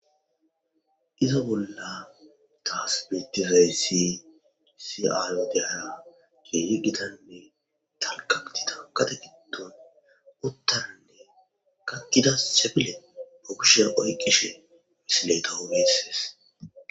Izo bolla trasmitifey si qisi aalo dehara geeri gitanne talkatida kate giddon uttanne kanida sefile pokishya oyqishe misileytahugiisses.